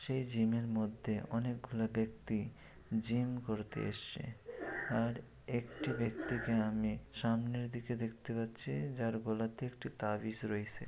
সেই জিমের মধ্যে অনেকগুলি ব্যক্তি জিম করতে এসছে আর একটি ব্যক্তিকে আমি সামনের দিকে দেখতে পাচ্ছি যার গলাতে একটি তাবিজ রয়সে।